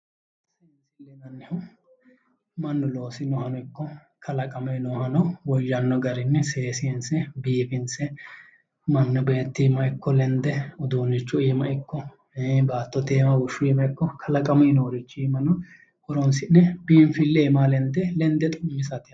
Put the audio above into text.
Seensille yinannihu Mannu loosinohano ikko kalaqamuyi noohano woyyanno garinni seesiinse biifinse mannu beetti iimma ikko lende uduunnichu iima ikko baattote iima buushu iima ikko kalaqamuyi noorichi iimano horoonsi'ne biinfille iimaa lende lende xu'misate yaate